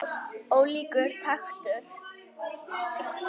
Ólíkur taktur.